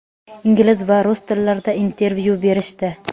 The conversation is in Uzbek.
ingliz va rus tillarida intervyu berishdi.